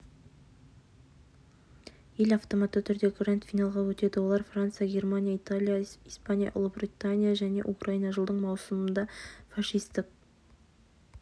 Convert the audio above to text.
ел автоматты түрде гранд-финалға өтеді олар франция германия италия испания ұлыбритания және украина жылдың маусымында фашистік